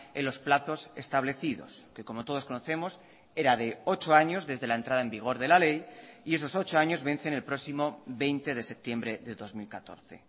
en los plazos establecidos que como todos conocemos era de ocho años desde la entrada en vigor de la ley y esos ocho años vencen el próximo veinte de septiembre de dos mil catorce